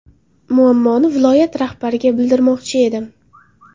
Muammoni viloyat rahbariga bildirmoqchi edim.